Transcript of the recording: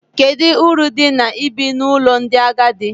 Kedu uru dị na ibi n’ụlọ ndị agadi?